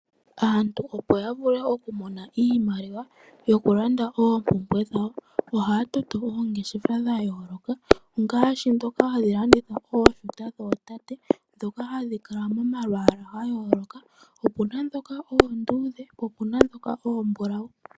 Aantu opo ya vule oku mona iimaliwa yo kulanda oompumbwe dhawo, ohaya toto oongeshefa dha yooloka ngashi dhoka hadhi landitha ooshuta dhootate, dhoka hadhi kala momalwaala ga yooloka, opuna dhoka oondudhe, po opuna dhoka oontiligane.